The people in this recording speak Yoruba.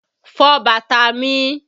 Fọ bàtà mi!